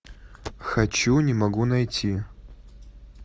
хочу не могу найти